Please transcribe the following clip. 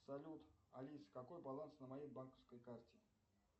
салют алиса какой баланс на моей банковской карте